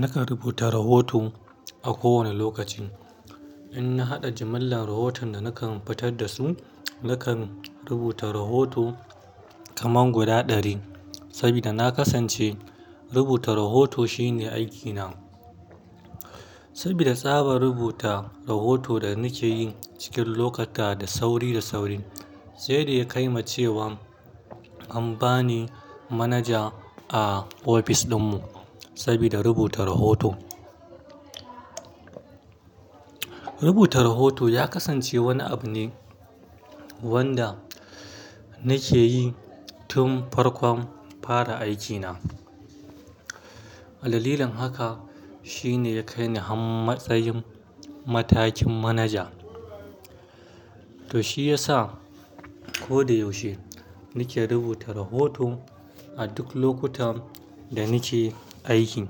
Nakan rubuta rahoto a kowane lokaci. In na haɗa jimillar rahoton da nakan fitar da su, nakan rubuta rahoto kaman guda ɗari. Saboda na kasance rubuta rahoto shine aikina. Sabida tsabar rubuta rahoton da nake yi cikin lokata da sauri da sauri, sai da ya kai ma cewa an ba ni manaja a ofis ɗinmu sabida rubuta rahoto. Rubuta rahoto ya kasance wani abu ne wanda nake yi tun farkon fara aikina. Dalilin haka shi ne ya kai ni har matsayin matakin manaja. To shi ya sa ko da yaushe nake rubuta rahoto a duk lokutan da nake aiki.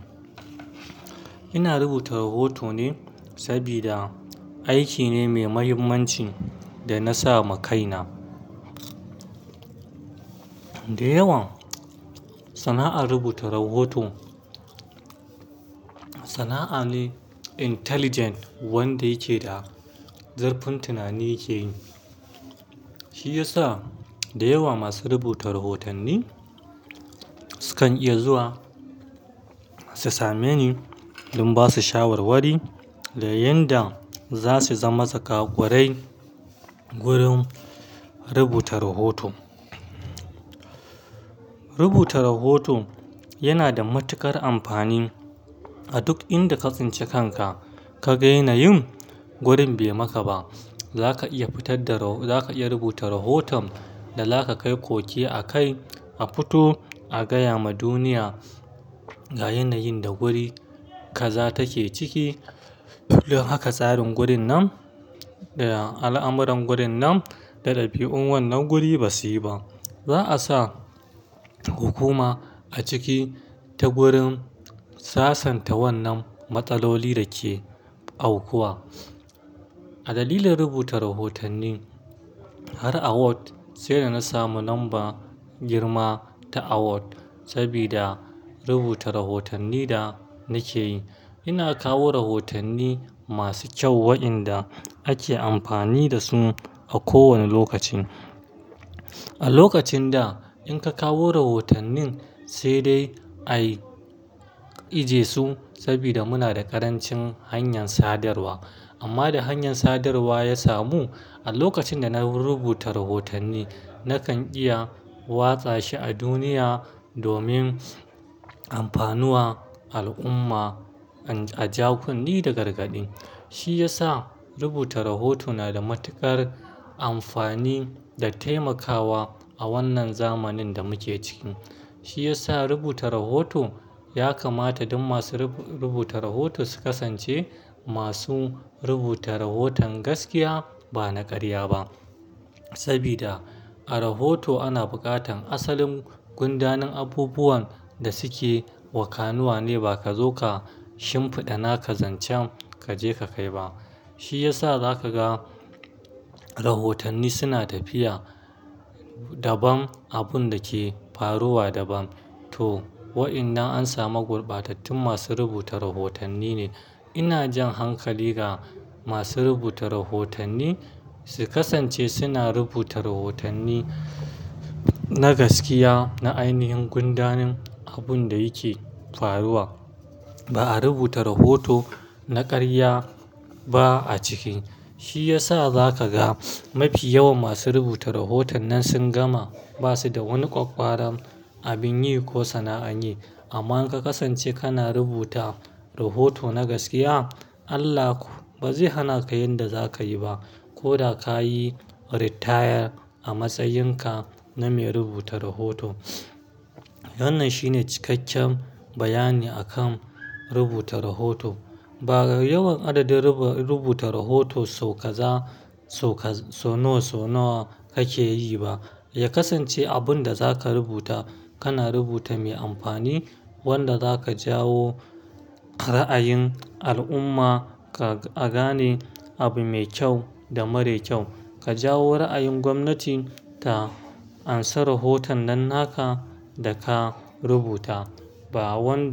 Ina rubuta rahoto ne saboda aiki ne mai mahimmanci da na sama kaina. Da yawan sana'ar rubuta rahoto sana'a ne intelligent wanda yake da zurfin tunani yake yi. Shi ya sa da yawa masu rubuta rahotanni sukan iya zuwa su same ni in ba su shawarwari. Da yanda za su zama zakwakwarai gurin rubuta rahoto. Rubuta rahoto yana da matuƙar amfani a duk inda ka tsinci kan ka ka ga yanayin gurin bai maka ba. Zaka iya rubuta rahoton da zaka kai koke a kai a futu a gaya ma duniya ga yanayin da guri kaza take ciki. Don haka tsarin gurin nan da al'amuran gurin nan da ɗabi'un wannan guri ba su yi ba. Za a sa hukuma a ciki ta gurin sasanta wannan matsaloli da ke aukuwa. A dalilin rubuta rahotanni har award sai da na samu lambar girma ta award saboda rubuta rahotannin da nake yi. Ina kawo rahotanni masu kyau waɗanda ake amfani da su a kowane lokaci. A lokacin da in ka kawo rahotannin, sai dai a ije su saboda muna da ƙarancin hanyar sadarwa. Amma da hanyar sadarwa ya samu, a lokacin da na rubuta rahotanni, nakan iya watsa shi a duniya domin amfanuwar al'umma a ja kunne da gargaɗi. Shi ya sa rubuta rahoto na da matuƙar amfani da taimakawa a wannan zamanin da muke ciki. Shi ya sa rubuta rahoto ya kamata Duk ma su rubuta rahoto su kasance ma su rubuta rahoton gaskiya ba na ƙarya ba. Sabida a rahoto ana buƙatar asalin gundanin abubuwan da suke wakanuwa ne ba ka zo ka shimfiɗa naka zancen ka je ka kai ba. Shi ya sa za ka ga rahotanni suna tafiya dabam abun da ya ke faruwa dabam. To, waɗannan an samu gurbatattun masu rubuta rahotanni ne. Ina jan hankali ga masu rubuta rahotanni su kasance suna rubuta rahotanni na gaskiya na ainihin gundanin abun da yake faruwan ba a rubuta rahoto na ƙarya ba a ciki. Shi ya sa za ka ga mafi yawan masu rubuta rahoton nan sun gama ba su da wani ƙwaƙƙwaran abin yi ko sana'an yi. Amma in ka kasance kana rubuta rahoto na gaskiya, Allah ba zai hana ka yan da za ka yi ba. Ko da ka yi retire a matsayin ka na mai rubuta rahoto. Wannan shine cikakken bayani a kan rubuta rahoto. Ba yawan adadin rubuta rahoto sau kaza sau nawa sau nawa kake yi ba. Ya kasance abun da za ka rubuta, kana rubuta mai amfani wanda za ka jawo ra'ayin al'umma a gane abu mai kyau da mara kyau. Ka jawo ra'ayin gwamnati ta amsa rahoton nan na ka da ka rubuta. Ba wanda.